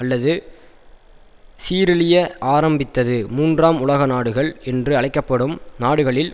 அல்லது சீரழிய ஆரம்பித்தது மூன்றாம் உலக நாடுகள் என்று அழைக்க படும் நாடுகளில்